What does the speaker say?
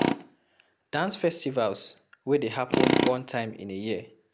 Dance festivals wey dey happen one time in a year